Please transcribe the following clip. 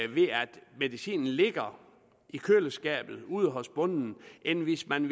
medicinen ligger i køleskabet ude hos bonden end hvis man